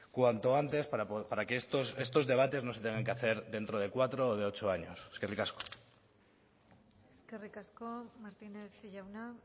cuanto antes para que estos debates no se tengan que hacer dentro de cuatro o de ocho años eskerrik asko eskerrik asko martínez jauna